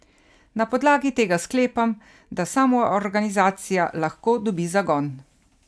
Na podlagi tega sklepam, da samoorganizacija lahko dobi zagon.